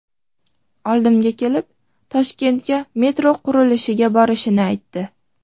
Oldimga kelib Toshkentga metro qurilishiga borishini aytdi.